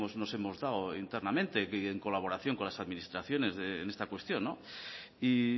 nos hemos dado internamente y en colaboración con las administraciones en esta cuestión y